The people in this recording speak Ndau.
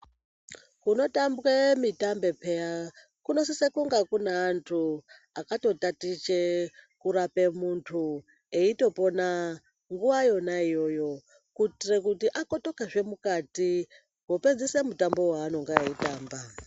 Kunotambwa mitambo peya kunosisa kunge andu akatotatiche kurape mundu eitopona nguva yona iyoyo kuitira kuti akotoke kunopedzisa mutambo weinenge eitamba.